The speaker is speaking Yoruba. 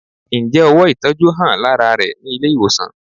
Ǹjẹ́ ówò ìtọjú hàn lárá rẹ ní ilé ìwòsàn?